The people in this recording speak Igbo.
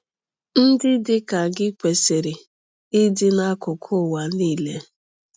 Ndị dị ka gị kwesịrị ịdị n’akụkụ ụwa niile.